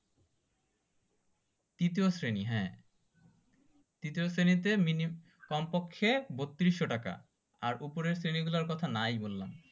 তৃতীয় শ্রেণী হ্যাঁ তৃতীয় শ্রেণীতে মিনিমাম কমপক্ষে বত্রিশশো টাকা আর ওপরের শ্রেণীগুলো কথা তো নাই বললাম